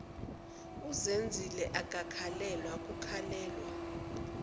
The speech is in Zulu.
uzenzile akakhalelwa kukhalelwa